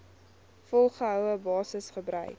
volgehoue basis gebruik